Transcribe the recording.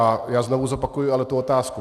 A já znovu zopakuji ale tu otázku.